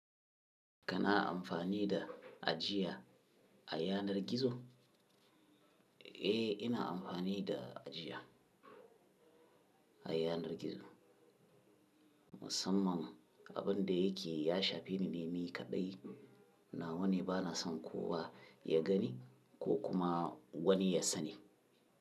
Kana amfani da ajiya a yanar gizo? Eh, ina amfani da ajiya a yanar gizo. Musamman abin da yake ya shafi ni ne, ni kaɗai na wane bana son kowa ya gani ko kuma wani ya sani.